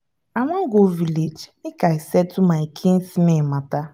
i wan go village make i settle my kinsmen matter